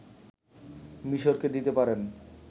মিশরকে দিতে পারেন